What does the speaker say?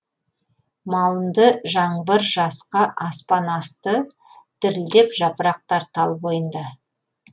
малынды жаңбыр жасқа аспан асты дірілдеп жапырақтар тал бойында